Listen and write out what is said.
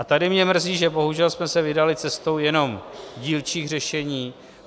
A tady mě mrzí, že bohužel jsme se vydali cestou jenom dílčích řešení.